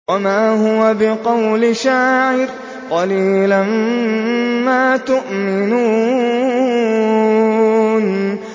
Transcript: وَمَا هُوَ بِقَوْلِ شَاعِرٍ ۚ قَلِيلًا مَّا تُؤْمِنُونَ